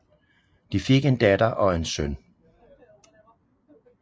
De fik en datter og en søn